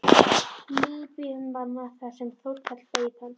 Líbíumanna þar sem Þórkell beið hans.